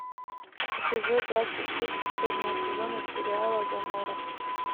эпизод двадцать шесть последнего сезона сериала гоморра